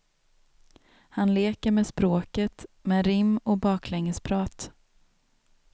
Han leker med språket, med rim och baklängesprat.